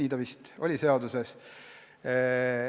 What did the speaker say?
Nii vist on seaduses.